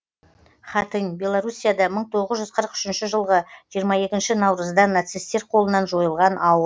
хатынь белоруссияда мың тоғыз жүз қырық үшінші жылғы жиырма екінші наурызда нацисттер қолынан жойылған ауыл